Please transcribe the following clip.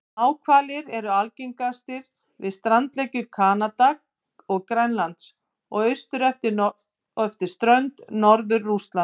Náhvalir eru algengastir við strandlengjur Kanada og Grænlands og austur eftir strönd Norður-Rússlands.